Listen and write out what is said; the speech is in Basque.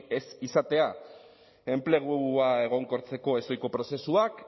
ez izatea enplegua egonkortzeko ezohiko prozesuak